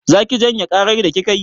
Za ki janye ƙarar da kika yi?